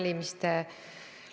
Kas on liiga vähe raha eraldatud?